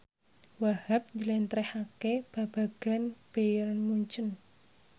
Wahhab njlentrehake babagan Bayern Munchen